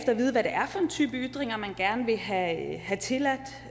type ytringer man gerne vil have have tilladt